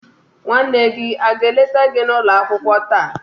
nwanne gi aga eleta gi n'ulo akwukwo taa?